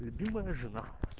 любимая жена